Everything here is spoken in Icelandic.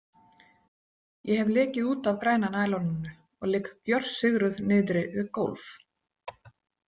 Ég hef lekið út af græna næloninu og ligg gjörsigruð niðri við gólf.